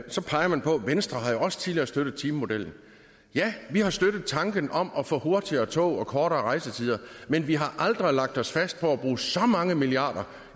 venstre jo også tidligere har støttet timemodellen ja vi har støttet tanken om at få hurtigere tog og kortere rejsetider men vi har aldrig lagt os fast på at bruge så mange milliarder